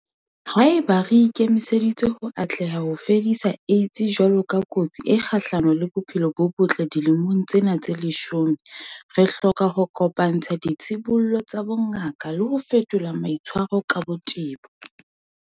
Haeba re ikemiseditse ho atleha ho fedisa AIDS jwalo ka kotsi e kgahlano le bophelo bo botle dilemong tsena tse leshome, re hloka ho kopa-ntsha ditshibollo tsa bongaka le ho fetola maitshwaro ka botebo.